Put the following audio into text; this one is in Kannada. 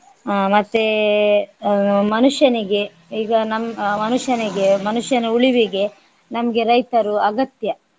ಆಹ್ ಮತ್ತೆ ಆಹ್ ಮನುಷ್ಯನಿಗೆ ಈಗ ನಮ್~ ಆಹ್ ಮನುಷ್ಯನಿಗೆ ಮನುಷ್ಯನ ಉಳಿವಿಗೆ ನಮ್ಗೆ ರೈತರು ಅಗತ್ಯ.